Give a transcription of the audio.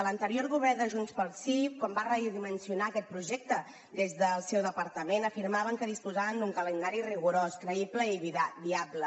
l’anterior govern de junts pel sí quan va redimensionar aquest projecte des del seu departament afirmaven que disposaven d’un calendari rigorós creïble i viable